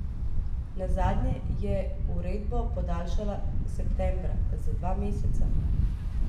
Nazadnje je uredbo podaljšala septembra, za dva meseca.